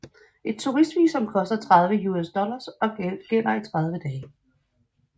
Et turist visum koster 30 USD og gælder i 30 dage